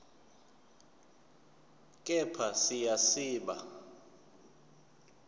kepha siya siba